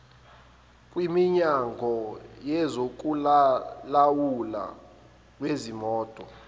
kwiminyango yezokulawulwa kwezimoto